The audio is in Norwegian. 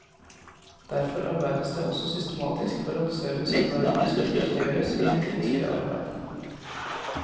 Derfor arbeides det også systematisk for at servicearbeiderne skal dyktiggjøres i sitt vanskelige arbeid.